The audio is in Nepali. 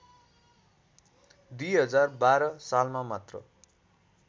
२०१२ सालमा मात्र